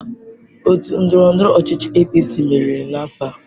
Otu ndọrọndọrọ ọchịchị APC meriri n'afọ a.